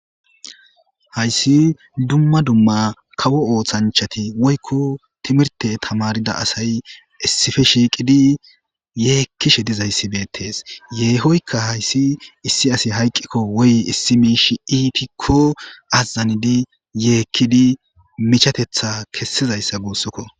hayssi dumma dumma kawo ooththanchati woykko timirte tamarida asay issife shiiqidi yeekkishe dizayssi beettees yeehoykka hayssi issi asi hayqqikko woy issi miishi iitikko azazanidi yeekkidi michatetha kessizayssa guussukko